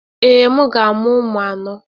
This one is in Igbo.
Ee, m ga-amụ ụmụ anọ.